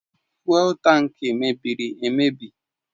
Fụ́élú tankị mebiri emebi